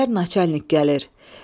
Dedilər naçalnik gəlir.